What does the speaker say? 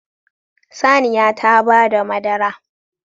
Saniya ta bada madara